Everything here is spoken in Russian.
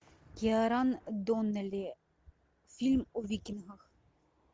киаран доннелли фильм о викингах